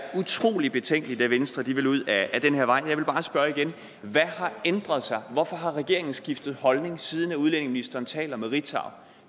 utrolig betænkeligt at venstre vil ud ad den her vej jeg vil bare spørge igen hvad har ændret sig hvorfor har regeringen skiftet holdning siden udlændingeministeren talte med ritzau